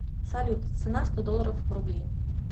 салют цена сто долларов в рубли